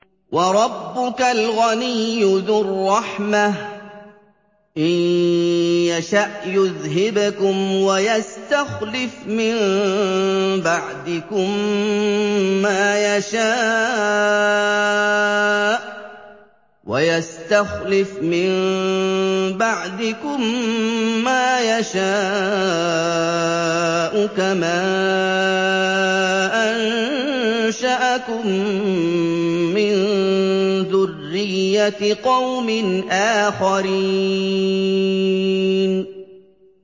وَرَبُّكَ الْغَنِيُّ ذُو الرَّحْمَةِ ۚ إِن يَشَأْ يُذْهِبْكُمْ وَيَسْتَخْلِفْ مِن بَعْدِكُم مَّا يَشَاءُ كَمَا أَنشَأَكُم مِّن ذُرِّيَّةِ قَوْمٍ آخَرِينَ